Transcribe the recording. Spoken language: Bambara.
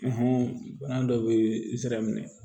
bana dɔ bɛ n sira minɛ